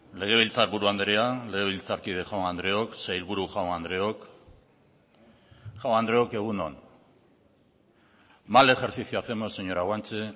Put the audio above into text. legebiltzarburu andrea legebiltzarkide jaun andreok sailburu jaun andreok jaun andreok egun on mal ejercicio hacemos señora guanche